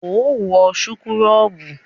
Óò wọ súkúrọ́bù!